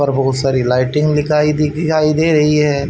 और बहुत सारी लाइटिंग लिकाई दिखाई दे रही है।